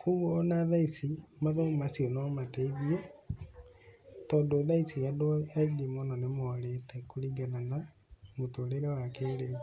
Koguo ona thaa ici mathomo macio no mateithie, tondũ thaa ici andũ aingĩ mũno nĩ morĩte kũringana na mũtũrĩre wa kĩrĩu.